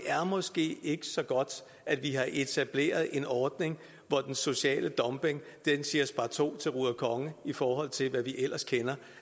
måske ikke er så godt at vi har etableret en ordning hvor den sociale dumping siger sparto til ruder konge i forhold til hvad vi ellers kender